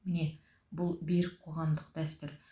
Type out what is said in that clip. міне бұл берік қоғамдық дәстүр